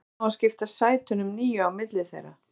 En hvernig á að skipta sætunum níu á milli þeirra?